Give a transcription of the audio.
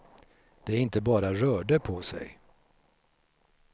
De inte bara rörde på sig.